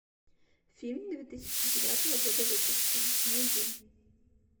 фильм две тысячи девятого года выпуска найди